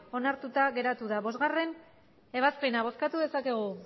hamabost onartuta geratu da bostgarrena ebazpena bozkatu dezakegu